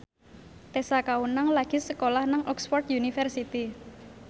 Tessa Kaunang lagi sekolah nang Oxford university